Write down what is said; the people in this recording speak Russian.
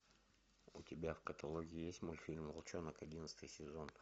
у тебя в каталоге есть мультфильм волчонок одиннадцатый сезон